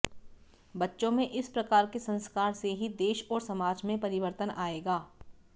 बच्चों में इस प्रकार के संस्कार से ही देश और समाज में परिवर्तन आएगा